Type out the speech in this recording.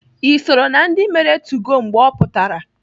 Ị soro na ndị mere 2go mgbe ọ pụtara?